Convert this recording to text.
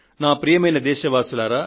ప్రియమైన నా దేశ ప్రజలారా